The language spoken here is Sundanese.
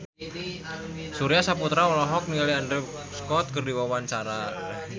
Surya Saputra olohok ningali Andrew Scott keur diwawancara